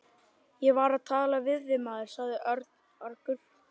Ég var að tala við þig, maður sagði Örn argur.